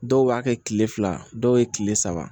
Dɔw b'a kɛ kile fila dɔw ye kile saba